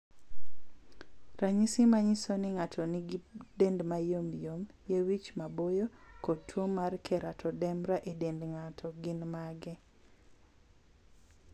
Ranyisi manyiso ni ng'ato nigi dend ma yomyom, yie wich ma boyo, kod tuwo mar keratoderma e dend ng'ato, gin mage?